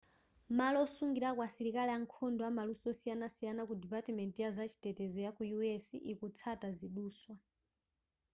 malo osungilako asilikali ankhondo amaluso osiyanasiyana ku depatimenti ya zachitetezo yaku u.s. ikutsata ziduswa